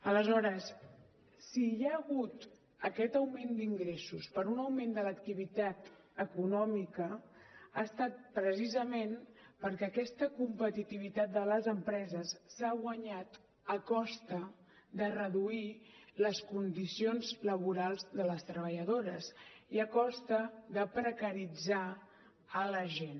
aleshores si hi ha hagut aquest augment d’ingressos per un augment de l’activitat econòmica ha estat precisament perquè aquesta competitivitat de les empreses s’ha guanyat a costa de reduir les condicions laborals de les treballadores i a costa de precaritzar la gent